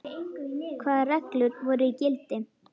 Hvaða reglur voru í gildi?